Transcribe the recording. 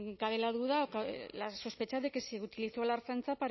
cabe la duda o cabe la sospecha de que se utilizó a la ertzaintza